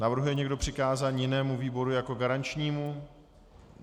Navrhuje někdo přikázání jinému výboru jako garančnímu?